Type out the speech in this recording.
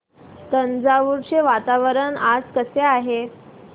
तंजावुर चे वातावरण आज कसे आहे